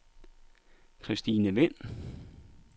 Christine Vind